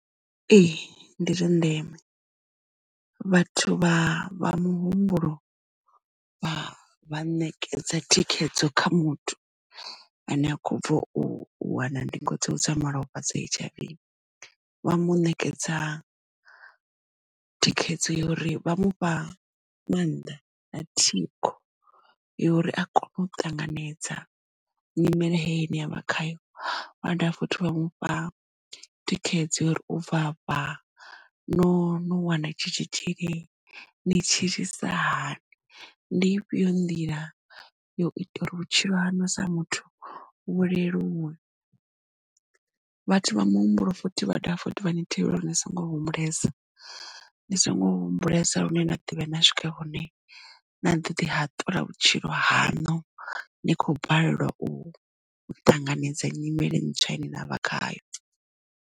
Ee ndi zwa ndeme vhathu vha vha muhumbulo vha ṋekedza thikhedzo kha muthu ane a kho bva u wana ndingo dzawe dza malofha dza H_I_V vha mu ṋekedza thikhedzo ya uri vha mufha maanḓa na thikho yo uri a kone u ṱanganedza nyimele heyi ine avha khayo vhada futhi vha mufha thikhedzo ya uri ubva fha no wana tshi tshitzhili ni tshilisa hani ndi ifhio nḓila yo ita uri vhutshilo haṋu sa muthu vhu leluwe. Vhathu vha muhumbulo futhi vha dovha futhi vha ni thivhela uri ni songo humbulesa ndi songo humbulesa lune nda ḓovhuya na swike hune na ḓo ḓi hatula vhutshilo hanu ni kho balelwa u ṱanganedza nyimele ntswa ine navha khayo.